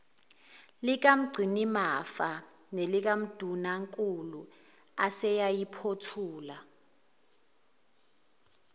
likamgcinimafa nelikandunankulu aseyayiphothula